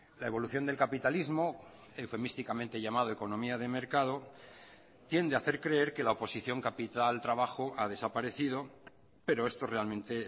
la evolución del capitalismo eufemísticamente llamado economía de mercado tiende a hacer creer que la oposición capital trabajo ha desaparecido pero esto realmente